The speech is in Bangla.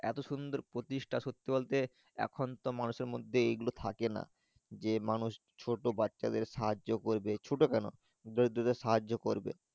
এত সুন্দর প্রতিষ্টা সত্যি বলতে এখন তো মানুষের মর্ধে এই গুলো থাকে না যে মানুষ ছোট বাচ্চা সাহায্য করবে ছোট কোনো সাহায্য করবে।